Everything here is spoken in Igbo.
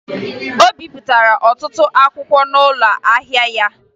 O bipụtara ọtụtụ akwụkwọ n'ụlọ ahịa ya